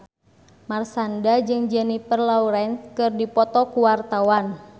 Marshanda jeung Jennifer Lawrence keur dipoto ku wartawan